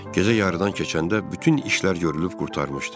Gecə yarıdan keçəndə bütün işlər görülüb qurtarmışdı.